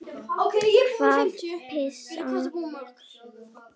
Hvað passar best saman?